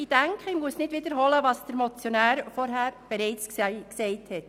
Ich denke, ich muss nicht wiederholen, was der Motionär vorhin bereits gesagt hat.